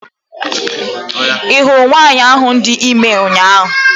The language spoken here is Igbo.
I hụrụ nwanyị ahụ dị ime ụnyaahụ?